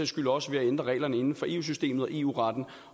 skyld også ved at ændre reglerne inden for eu systemet og eu retten